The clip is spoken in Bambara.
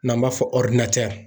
N'an b'a fɔ